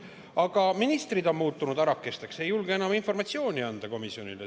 Aga ministrid on muutunud arakesteks, nad ei julge enam komisjonile informatsiooni anda.